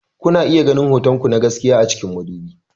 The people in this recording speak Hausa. Kuna iya ganin hotonku na gaskiya a cikin madubi.